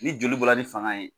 Ni joli bɔla ni fanga ye.